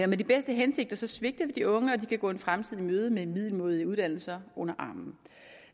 med de bedste hensigter svigter vi de unge og de kan gå en fremtid i møde med middelmådige uddannelser under armen